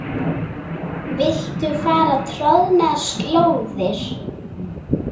Viltu fara troðnar slóðir?